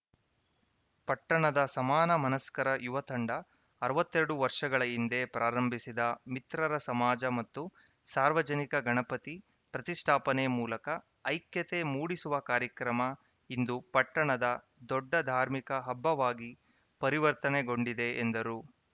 ಪಟ್ಟಣದ ಸಮಾನ ಮನಸ್ಕರ ಯುವ ತಂಡ ಅರವತ್ತೆರಡು ವರ್ಷಗಳ ಹಿಂದೆ ಪ್ರಾರಂಭಿಸಿದ ಮಿತ್ರರ ಸಮಾಜ ಮತ್ತು ಸಾರ್ವಜನಿಕ ಗಣಪತಿ ಪ್ರತಿಷ್ಠಾಪನೆ ಮೂಲಕ ಐಕ್ಯತೆ ಮೂಡಿಸುವ ಕಾರ್ಯಕ್ರಮ ಇಂದು ಪಟ್ಟಣದ ದೊಡ್ಡ ಧಾರ್ಮಿಕ ಹಬ್ಬವಾಗಿ ಪರಿವರ್ತನೆಗೊಂಡಿದೆ ಎಂದರು